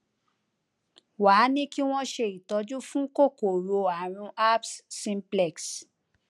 wá a ní kí wón ṣe ìtọjú fún kòkòrò àrùn herpes simplex